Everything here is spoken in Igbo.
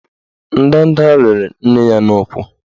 Ndanda rịrị nne ya n'ụkwụ